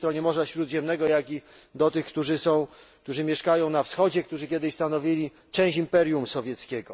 po drugiej stronie morza Śródziemnego, jak i tych, którzy mieszkają na Wschodzie, którzy kiedyś stanowili część imperium sowieckiego.